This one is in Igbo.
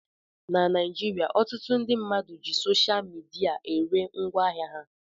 Na Naijiria, ọtụtụ ndị mmadụ ji sosha midia ere ngwaahịa ha